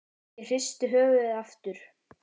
Ég hristi höfuðið aftur.